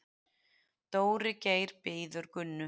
Dóri Geir bíður Gunnu.